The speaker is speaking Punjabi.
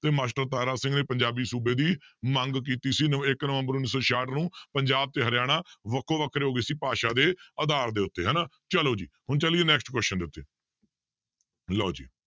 ਤੇ ਮਾਸਟਰ ਤਾਰਾ ਸਿੰਘ ਨੇ ਪੰਜਾਬੀ ਸੂਬੇ ਦੀ ਮੰਗ ਕੀਤੀ ਸੀ ਨ~ ਇੱਕ ਨਵੰਬਰ ਉੱਨੀ ਸੌ ਛਿਆਹਠ ਨੂੰ ਪੰਜਾਬ ਤੇ ਹਰਿਆਣਾ ਵੱਖੋ ਵੱਖਰੇ ਹੋ ਗਏ ਸੀ ਭਾਸ਼ਾ ਦੇ ਆਧਾਰ ਦੇ ਉੱਤੇ ਹਨਾ ਚਲੋ ਜੀ ਹੁਣ ਚੱਲੀਏ next question ਦੇ ਉੱਤੇ ਲਓ ਜੀ